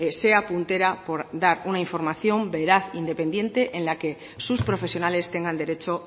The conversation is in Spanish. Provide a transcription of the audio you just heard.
sea puntera por dar una información veraz independiente en la que sus profesionales tengan derecho